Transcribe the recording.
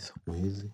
siku hizi.